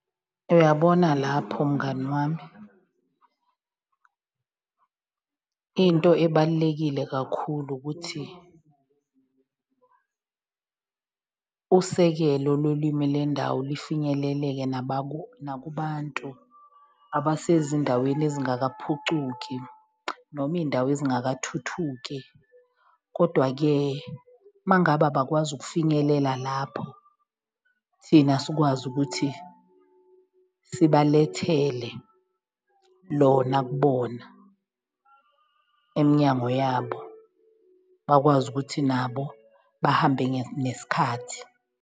Uyabona lapho mngani wami into ebalulekile kakhulu ukuthi usekelo lolwimi lwendawo lifinyeleleke nakubantu abasezindaweni ezingakaphucuki noma iy'ndawo ezingathuthuki. Kodwa-ke uma ngabe abakwazi ukufinyelela lapho, thina sikwazi ukuthi sibalethele lona kubona emnyango yabo bakwazi ukuthi nabo bahambe nesikhathi.